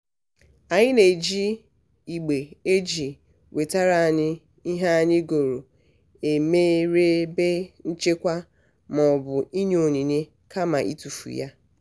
anyị na-eji igbe e ji wetara anyị ihe anyị goro emere ebe nchekwa maọbụ inye onyinye kama itufu ha.